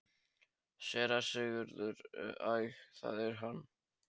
SÉRA SIGURÐUR: Æ, það er hann!